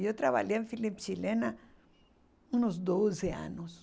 Eu trabalhei em Philips chilena uns doze anos.